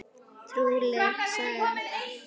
Trúleg saga það!